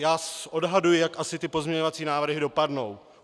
Já odhaduji, jak asi ty pozměňovací návrhy dopadnou.